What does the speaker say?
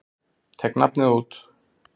Tek nafnið út.